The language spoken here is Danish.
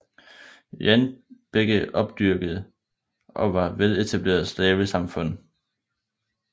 Jan begge opdyrkede og var veletablerede slavesamfund